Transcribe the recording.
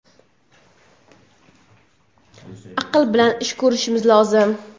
Aql bilan ish ko‘rishimiz lozim.